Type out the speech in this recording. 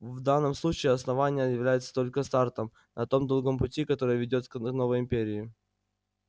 в данном случае основание является только стартом на том долгом пути который ведёт к новой империи